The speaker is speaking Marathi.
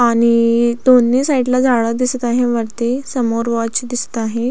आणि दोन्ही साईड ला झाड दिसत वरती समोर वाॅच दिसत आहे.